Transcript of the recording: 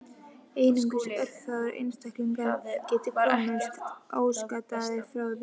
Einungis örfáir einstaklingar geti komist óskaddaðir frá því.